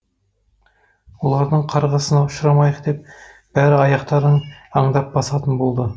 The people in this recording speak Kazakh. олардың қарғысына ұшырамайық деп бәрі аяқтарын аңдап басатын болды